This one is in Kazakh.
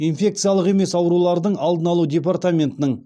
инфекциялық емес аурулардың алдын алу департаментінің